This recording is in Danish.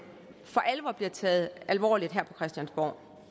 for alvor bliver taget alvorligt her på christiansborg